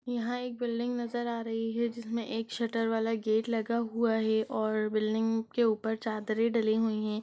यहाँ एक बिल्डिंग नजर आ रही है जिसमें एक शटर वाला गेट लगा हुआ है और बिल्डिंग के ऊपर चादरे डाली हुई हैं।